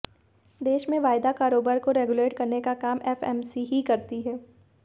देश में वायदा कारोबार को रेग्युलेट करने का काम एफएमसी ही करती है